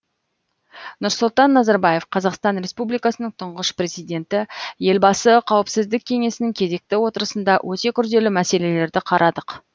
нұрсұлтан назарбаев қазақстан республикасының тұңғыш президенті елбасы қауіпсіздік кеңесінің кезекті отырысында өте күрделі мәселелерді қарадық